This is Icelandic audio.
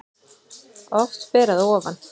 Oft ber að ofan